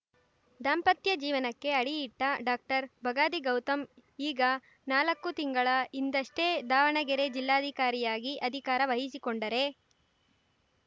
ದಾಂಪತ್ಯ ಜೀವನಕ್ಕೆ ಅಡಿ ಇಟ್ಟ ಡಾಕ್ಟರ್ಬಗಾದಿ ಗೌತಮ್‌ ಈಗ ನಾಲಕ್ಕು ತಿಂಗಳ ಹಿಂದಷ್ಟೇ ದಾವಣಗೆರೆ ಜಿಲ್ಲಾಧಿಕಾರಿಯಾಗಿ ಅಧಿಕಾರ ವಹಿಸಿಕೊಂಡರೆ